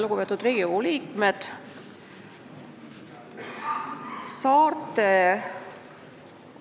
Lugupeetud Riigikogu liikmed!